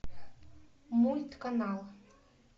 мульт канал